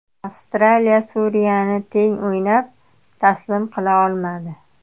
Avstraliya Suriyani teng o‘ynab, taslim qila olmadi.